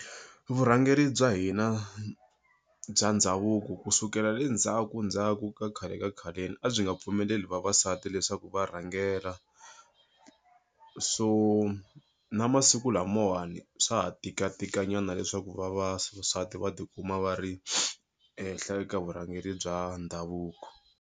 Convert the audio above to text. Vurhangeri bya hina bya ndhavuko kusukela le ndzhaku ndzhaku ka khale ka khaleni a byi nga pfumeleli vavasati leswaku va rhangela so na masiku lamawani swa ha tikatika nyana leswaku vavasati va ti kuma va ri ehenhla ka vurhangeri bya ndhavuko.